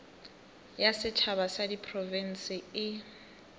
ya setšhaba ya diprofense e